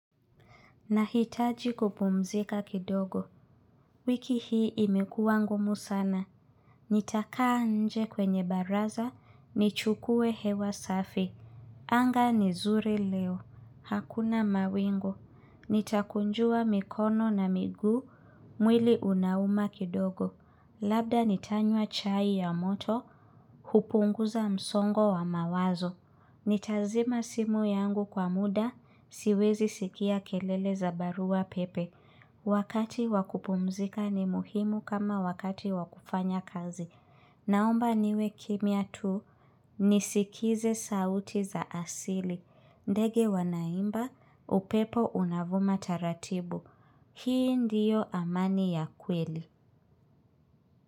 Nahitaji kupumzika kidogo. Wiki hii imekuwa ngumu sana. Nitakaa nje kwenye baraza, nichukue hewa safi. Anga ni zuri leo. Hakuna mawingu. Nitakunjua mikono na miguu, mwili unauma kidogo. Labda nitanywa chai ya moto, hupunguza msongo wa mawazo. Nitazima simu yangu kwa muda, siwezi sikia kelele za barua pepe. Wakati wakupumzika ni muhimu kama wakati wakufanya kazi. Naomba niwe kimya tu, nisikize sauti za asili. Ndege wanaimba, upepo unavuma taratibu. Hii ndiyo amani ya kweli.